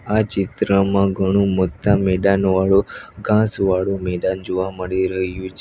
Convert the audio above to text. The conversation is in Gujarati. આ ચિત્રમાં ઘણું મત્તા મેદાનવાળુ ઘાંસવાળુ મેદાન જોવા મળી રહ્યું છે.